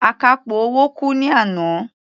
Akápò owó kú ní àná.